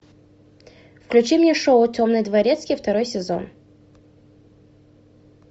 включи мне шоу темный дворецкий второй сезон